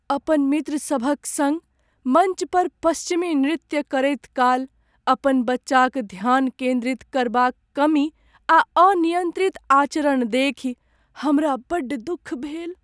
अपन मित्र सभक संग मञ्च पर पश्चिमी नृत्य करैत काल अपन बच्चाक ध्यान केन्द्रित करबाक कमी आ अनियंत्रित आचरण देखि हमरा बड्ड दुख भेल।